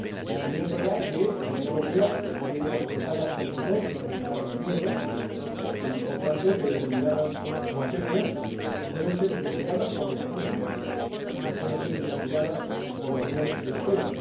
También es verdad que la Unión Europea tiene que respetar las competencias de los Estados miembros y, por tanto, determinadas materias deben ser investigadas por los Estados miembros, no pueden ser investigadas por la Unión Europea.